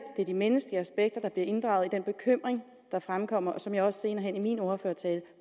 er de menneskelige aspekter der bliver inddraget i den bekymring der fremkommer og som jeg også senere hen i min ordførertale